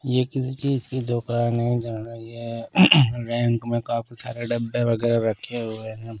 ये किसी चीज की दुकान है जहाँ ये रैंक में काफी सारे डब्बे वगैरह रखे हुए हैं।